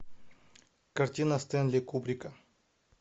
картина стенли кубрика